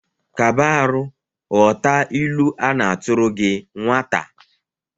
Kba arụ ghọta ilu a na-atụrụ gi nwata!